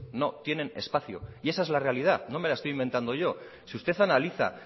no tienen espacio y esa es la realidad no me la estoy inventando yo si usted analiza